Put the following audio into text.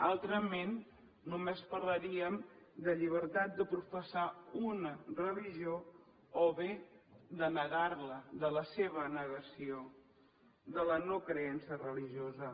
altrament només parlaríem de llibertat de professar una religió o bé de negar la de la seva negació de la nocreença religiosa